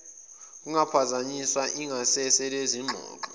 kungaphazanyiswa ingasese lezingxoxo